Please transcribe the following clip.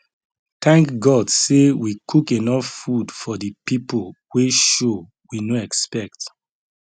thank god say we cook enough food for the people wey show we no expect